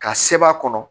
Ka seba kɔnɔ